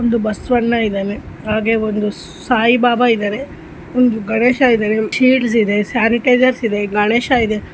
ಒಂದು ಬಸವಣ್ಣ ಇದಾರೆ ಹಾಗೆ ಒಂದು ಸಾಯಿಬಾಬ ಇದಾರೆ ಒಂದು ಗಣೇಶ ಇದಾರೆ ಶಿಸ್ಲ್ಡ್ಸ್ ಇದೆ ಸ್ಯಾನಿಟೈಝೆರ್ಸ್ ಇದೆ ಗಣೇಶ ಇದೆ.